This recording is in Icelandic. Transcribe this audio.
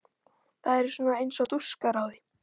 Það eru svona eins og dúskar á því.